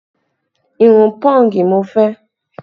Irun pọ́ǹgì ni mo fẹ́